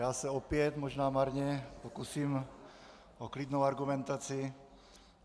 Já se opět, možná marně pokusím o klidnou argumentaci.